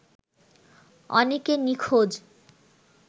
অনেকে নিখোঁজ